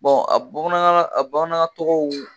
a bamanankanna a bamanankan tɔgɔw